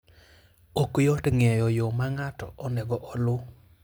Ok yot ng'eyo yo ma ng'ato onego oluw.